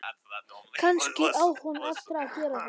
Kannski á hún eftir að gera það.